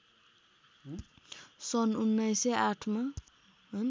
सन् १९०८ मा